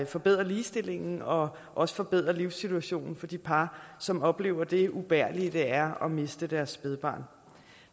forbedrer ligestillingen og også forbedrer livssituationen for de par som oplever det ubærlige det er at miste deres spædbarn